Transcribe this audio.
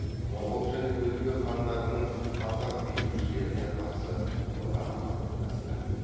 моғол және өзбек хандарының қазақ билеушілеріне қарсы одағы қалыптасты